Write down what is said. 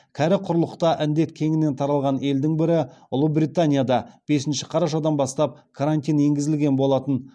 кәрі құрлықта індет кеңінен таралған елдің бірі ұлыбританияда бесінші қарашадан бастап карантин енгізілген болатын